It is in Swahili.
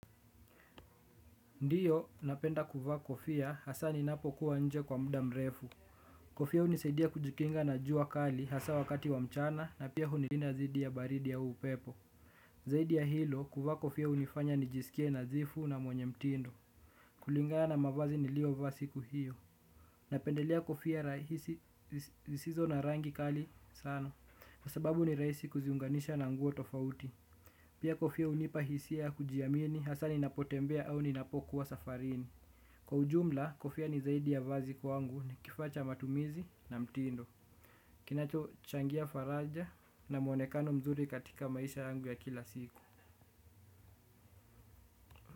Ndiyo napenda kuvaa kofia, hasa ninapokua nje kwa mda mrefu. Kofia hunisaidia kujikinga na jua kali, hasa wakati wa mchana na pia hunilida zidi ya baridi au upepo. Zaidi ya hilo, kuvaa kofia unifanya nijisikie nadhifu na mwenye mtindo. Kulingaa na mavazi nilio vaa siku hiyo napendelea kofia rahisi zisizo na rangi kali sana. Kwa sababu ni raisi kuziunganisha na nguo tofauti. Pia kofia unipa hisia ya kujiamini hasa ninapotembea au ninapokuwa safarini. Kwa ujumla, kofia ni zaidi ya vazi kwangu, ni kifaa cha matumizi, na mtindo. Kinacho changia faraja na muonekano mzuri katika maisha yangu ya kila siku.